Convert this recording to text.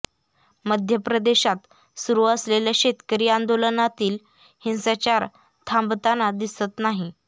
मध्यप्रदेशात सुरू असलेल्या शेतकरी आंदोलनातील हिंसाचार थांबताना दिसत नाही